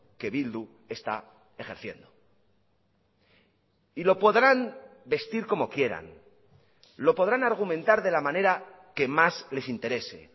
que bildu está ejerciendo y lo podrán vestir como quieran lo podrán argumentar de la manera que más les interese